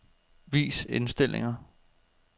Vis indstillinger.